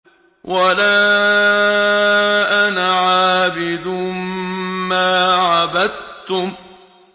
وَلَا أَنَا عَابِدٌ مَّا عَبَدتُّمْ